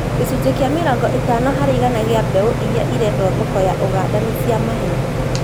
Gĩcunjĩ gĩa mĩrongo ĩtano harĩ igana gĩa mbeũ iria irendio thoko ya Uganda ni cia maheeni